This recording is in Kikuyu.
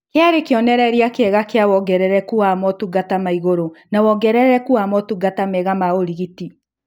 Kĩarĩ kĩonerereria kĩega kĩa wongerereku wa motungata ma igũrũ na wongerereku wa motungata mega ma ũrigiti